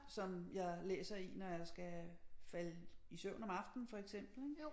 Som jeg læser i når jeg skal falde i søvn om aftenen for eksempel ik